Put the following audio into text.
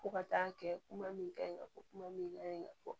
Fo ka taa kɛ kuma min ka ɲi ka fɔ kuma min ka ɲi ka fɔ